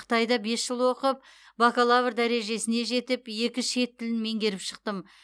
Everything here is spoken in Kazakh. қытайда бес жыл оқып бакалавр дәрежесіне жетіп екі шет тілін меңгеріп шықтым